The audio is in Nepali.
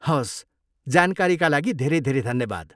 हवस्, जानकारीका लागि धेरै धेरै धन्यवाद।